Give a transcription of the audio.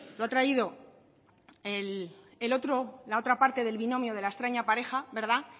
lo ha traído el otro la otra parte del binomio de la extraña pareja